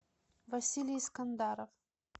василий скандаров